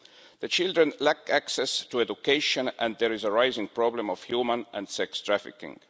The children lack access to education and there is a rising problem of human and sex trafficking.